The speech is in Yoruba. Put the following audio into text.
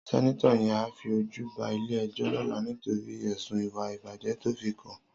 Sènitò yèn á fi ójù bá ilé èjò lòlá nitóri èsún iwá ibájè tòfikán